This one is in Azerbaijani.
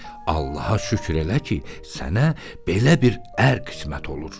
Allaha şükür elə ki, sənə belə bir ər qismət olur.